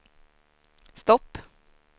stopp